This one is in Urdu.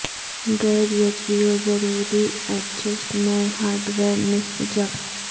گیئر یچبیو ضروری ایڈجسٹ نئے ہارڈ ویئر نصب جب